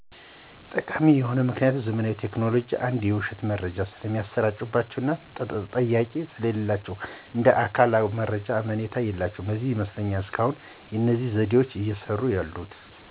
ጠቃሚ የሆኑበት ምክኒያት ዘመናዊ ቴክኖሎጂዎች አንዳንድ የዉሸት መረጃዎች ስለሚሰራጭባቸዉ እና ተጠያቂም ስለሌላቸዉ እንደ አካል በአካሎ መረጃዎች አመኔታ የላቸዉም ለዚህ ይመስለኛል እስካሁን እነዚህ ዘዴዎች እየሰሩ ያሉት።